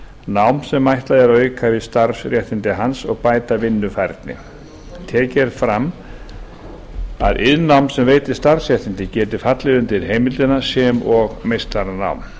nám sem ætlað er að auka við starfsréttindi hans og bæta vinnufærni tekið er fram að iðnnám sem veitir starfsréttindi geti fallið undir heimildina sem og meistaranám